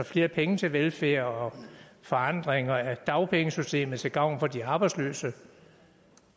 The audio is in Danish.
flere penge til velfærd og forandringer af dagpengesystemet til gavn for de arbejdsløse